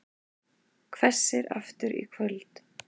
Hvessir aftur í kvöld